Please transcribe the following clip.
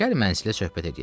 Gəl mənzilə söhbət eləyək.